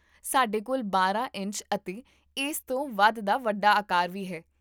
ਸਾਡੇ ਕੋਲ ਬਾਰਾਂ ਇੰਚ ਅਤੇ ਇਸ ਤੋਂ ਵੱਧ ਦਾ ਵੱਡਾ ਆਕਾਰ ਵੀ ਹੈ